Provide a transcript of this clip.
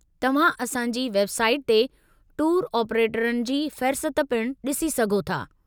तव्हां असां जी वेब साईट ते टूर ऑप्रेटरनि जी फ़हिरसत पिणु डि॒सी सघो था।